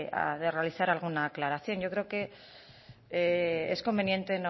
realizar alguna aclaración yo creo que es conveniente